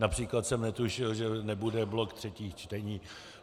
Například jsem netušil, že nebude blok třetích čteních.